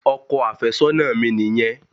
Ọkọ àfẹ́sọ́nà mi nìyẹn.